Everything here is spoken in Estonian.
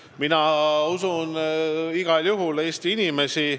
Mina usun igal juhul Eesti inimesi.